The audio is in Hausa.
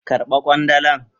Karba kwandalan.